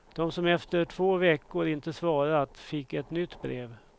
De som efter två veckor inte svarat fick ett nytt brev.